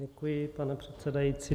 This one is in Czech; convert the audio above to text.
Děkuji, pane předsedající.